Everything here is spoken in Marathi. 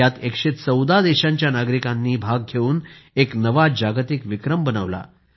यात 114 देशांच्या नागरिकांनी भाग घेऊन एक नवा जागतिक विक्रम बनवला